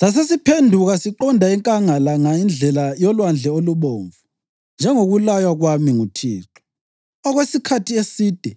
“Sasesiphenduka siqonda enkangala ngendlela yoLwandle oluBomvu njengokulaywa kwami nguThixo. Okwesikhathi eside